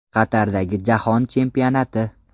Qatardagi Jahon Chempionati?